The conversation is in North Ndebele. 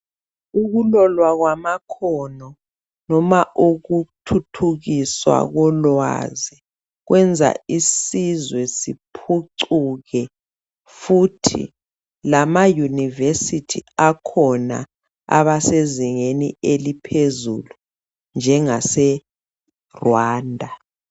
Ukulolwa kwamakhono loba ukuthuthukiswa kolwazi kwenza isizwe siphucuke futhi lamayunivesithi akhona abasezingeni eliphezulu njengaseGwanda.